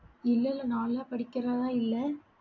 இல்ல இல்ல. நான்லாம் படிக்கிறதா இல்ல